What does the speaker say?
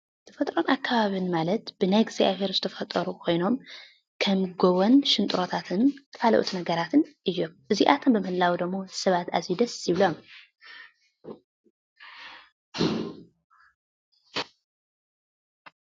ተፈጥሮኣዊን ኣከባቢን ማለት ብናይ እግዚኣብሄር ዝተፈጠሩ ኮይኖም ከም ጎቦን ሽንጥሮታትን ካልኦት ነገራትን እዮም። እዚኣቶም ብምህላዎም ደሞ ሰባት ኣዝዩ ደስ ይብሎም ።